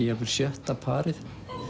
jafnvel sjötta parið